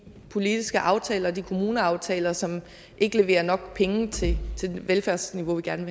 politiske aftaler og de kommuneaftaler som ikke leverer nok penge til det velfærdsniveau vi gerne